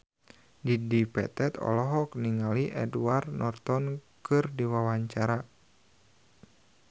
Dedi Petet olohok ningali Edward Norton keur diwawancara